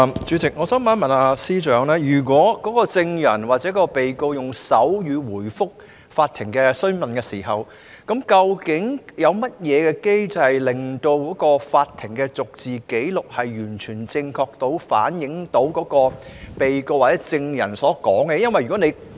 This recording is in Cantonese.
主席，我想問司長，如證人或被告在法庭上用手語回覆詢問，究竟有甚麼機制，確保法庭的逐字紀錄完全正確反映該名被告或證人的陳述？